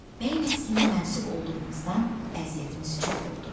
Bəy nəslinə mənsub olduğumuzdan əziyyətimiz çox oldu.